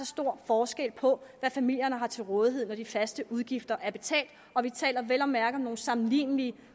stor forskel på hvad familierne har til rådighed når de faste udgifter er betalt og vi taler vel at mærke om nogle sammenlignelige